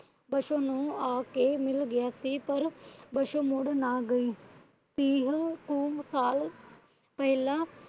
ਪਾਸ਼ੋ ਨੂੰ ਆਕੇ ਮਿਲ ਗਿਆ ਸੀ। ਪਰ ਪਾਸ਼ੋ ਮੁੜ ਨਾ ਗਈ।